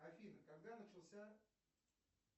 афина когда начался